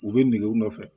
U bɛ nege u nɔfɛ